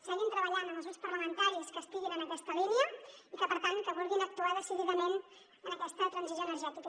seguim treballant amb els grups parlamentaris que estiguin en aquesta línia i que per tant vulguin actuar decididament en aquesta transició energètica